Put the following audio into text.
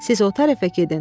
Siz o tərəfə gedin.